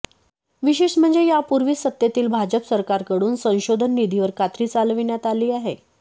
विशेष म्हणजे यापूर्वीच सत्तेतील भाजप सरकारकडून संशोधन निधीवर कात्री चालविण्यात आली आहे